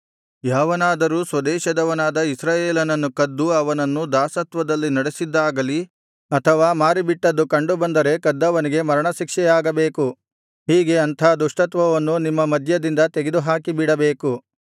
ಯಾವನಾದರೂ ಸ್ವದೇಶದವನಾದ ಇಸ್ರಾಯೇಲನನ್ನು ಕದ್ದು ಅವನನ್ನು ದಾಸತ್ವದಲ್ಲಿ ನಡಿಸಿದ್ದಾಗಲಿ ಅಥವಾ ಮಾರಿಬಿಟ್ಟದ್ದು ಕಂಡುಬಂದರೆ ಕದ್ದವನಿಗೆ ಮರಣಶಿಕ್ಷೆಯಾಗಬೇಕು ಹೀಗೆ ಅಂಥ ದುಷ್ಟತ್ವವನ್ನು ನಿಮ್ಮ ಮಧ್ಯದಿಂದ ತೆಗೆದುಹಾಕಿಬಿಡಬೇಕು